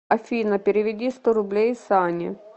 афина переведи сто рублей сане